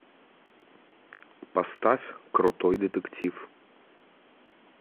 поставь крутой детектив